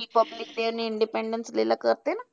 Republic day आणि Independace day ला करते ना.